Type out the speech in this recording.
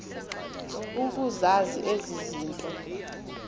ukuzazi ezi zinto